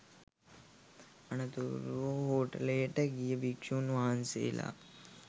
අනතුරුව හෝටලයට ගිය භික්ෂූන් වහන්සේලා